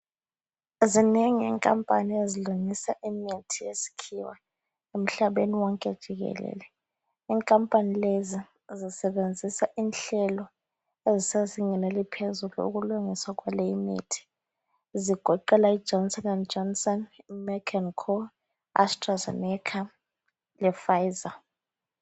Zinengi inkampani ezilungisa imithi yesikhiwa emhlabeni wonke jikelele. Inkampani lezi zisebenzisa inhlelo ezisezingeni eliphezulu ukulungisa kwale imithi. Zigoqela iJohnson and Johnson, Mark and Co, Astra Zeneca le Pfizer.